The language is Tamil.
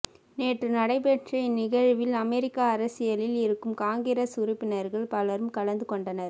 நேற்று நடைபெற்ற இந்நிகழ்வில் அமெரிக்க அரசியலில் இருக்கும் காங்கிரஸ் உறுப்பினர்கள் பலரும் கலந்து கொண்டனர்